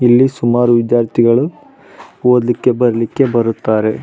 ಇಲ್ಲಿ ಸುಮಾರು ವಿದ್ಯಾರ್ಥಿಗಳು ಓದಲಿಕ್ಕೆ ಬರೀಲಿಕ್ಕೆ ಬರುತಾರೆ.